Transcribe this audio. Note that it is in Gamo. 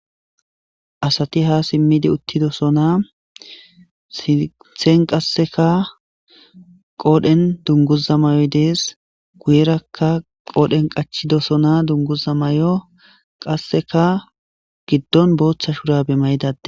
asati ha simmidi uttidosona sinthen qasseka qoodhen dunguza may7oy dees guyerakka qoodhen qachidosona dunguza may7o qasseka giddon booththa shurabe mayidade